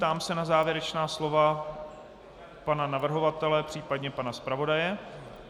Ptám se na závěrečná slova pana navrhovatele, případně pana zpravodaje.